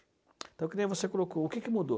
Então, que nem você colocou, o que que mudou?